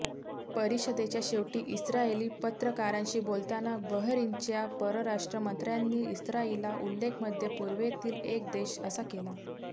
परिषदेच्या शेवटी इस्राइली पत्रकारांशी बोलताना बहरीनच्या परराष्ट्रमंत्र्यांनी इस्राइलचा उल्लेख मध्य पूर्वेतील एक देश असा केला